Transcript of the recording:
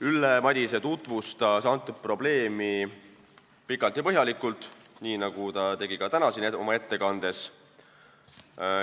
Ülle Madise tutvustas probleemi pikalt ja põhjalikult, nii nagu ta tegi ka täna siin oma ettekandes.